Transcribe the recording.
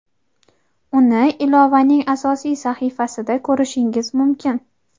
uni ilovaning asosiy sahifasida ko‘rishingiz mumkin.